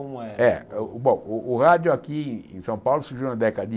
Como é Eh bom o rádio aqui em São Paulo surgiu na década de